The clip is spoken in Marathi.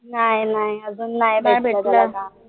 नाय नाय अजून भेटलं